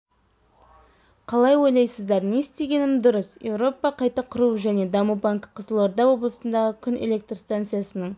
қалай ойлайсыздар не істегенім дұрыс еуропа қайта құру және даму банкі қызылорда облысындағы күн электр станциясының